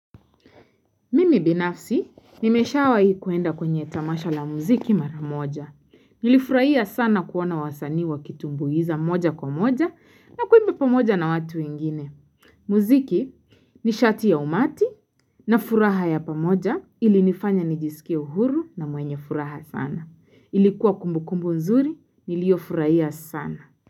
Mimi binafsi, nimeshawahi kuenda kwenye tamasha la muziki mara moja. Nilifurahia sana kuona wasanii wakitumbuiza moja kwa moja na kuimba pamoja na watu wengine. Muziki nishati ya umati na furaha ya pamoja ilinifanya nijisikie uhuru na mwenye furaha sana. Ilikuwa kumbukumbu nzuri, nilio furahia sana.